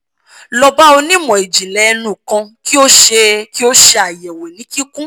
lọ ba onimọ ijinlẹ ẹnu kan ki o ṣe ki o ṣe ayẹwo ni kikun